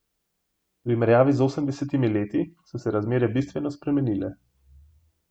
V primerjavi z osemdesetimi leti so se razmere bistveno spremenile.